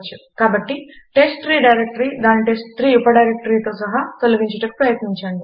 కాబట్టి టెస్ట్ట్రీ డైరెక్టరీని దాని టెస్ట్3 ఉపడైరెక్టరీతో సహా తొలగించుటకు ప్రయత్నించండి